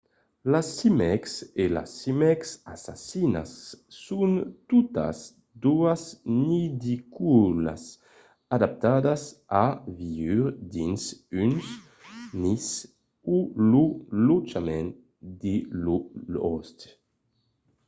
las címecs e las címecs assassinas son totas doas nidicòlas adaptadas a viure dins un nis o lo lotjament de lor òste